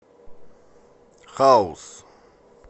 хаус